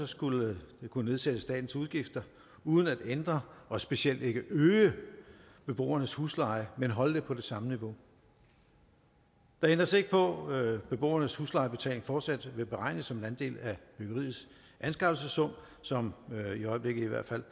skulle det kunne nedsætte statens udgifter uden at ændre og specielt ikke øge beboernes husleje men holde det på det samme niveau der ændres ikke på at beboernes huslejebetaling fortsat vil beregnes som en andel af byggeriets anskaffelsessum som i hvert fald